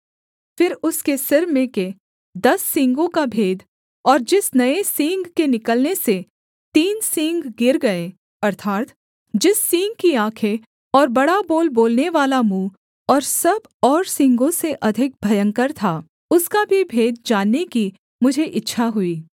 फिर उसके सिर में के दस सींगों का भेद और जिस नये सींग के निकलने से तीन सींग गिर गए अर्थात् जिस सींग की आँखें और बड़ा बोल बोलनेवाला मुँह और सब और सींगों से अधिक भयंकर था उसका भी भेद जानने की मुझे इच्छा हुई